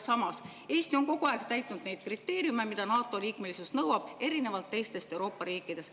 Samas, Eesti on kogu aeg täitnud neid kriteeriume, mida NATO liikmelisus nõuab, erinevalt teistest Euroopa riikidest.